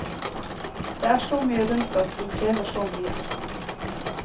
Det er så mye rundt oss, som krever så mye.